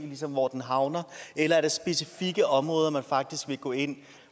hvor den havner eller er det specifikke områder hvor man faktisk vil gå ind